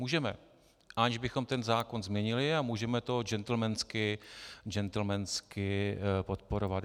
Můžeme, aniž bychom ten zákon změnili, a můžeme to džentlmensky podporovat.